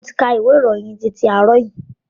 Mo ti ka ìwé ìròyìn titi àárọ̀ yìí.